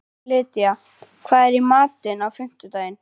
Lydía, hvað er í matinn á fimmtudaginn?